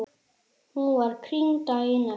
Hún var krýnd daginn eftir.